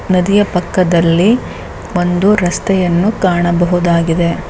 ನದಿಯ ಪಕ್ಕದಲ್ಲಿ ಒಂದು ರಸ್ತೆಯನ್ನು ಕಾಣಬಹುದಾಗಿದೆ.